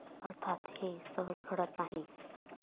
अर्थात हे सहज घडत नाही.